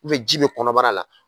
ji bɛ kɔnɔbara la.